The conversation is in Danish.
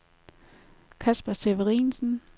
Kasper Severinsen